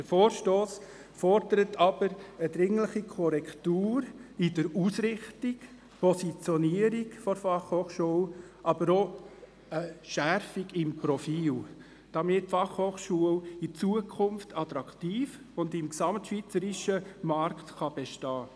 Der Vorstoss fordert jedoch eine dringliche Korrektur bezüglich der Ausrichtung und Positionierung der BFH, aber auch eine Schärfung des Profils, damit die BFH auch in Zukunft attraktiv bleibt und im gesamtschweizerischen Markt bestehen kann.